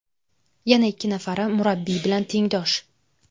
Yana ikki nafari murabbiy bilan tengdosh.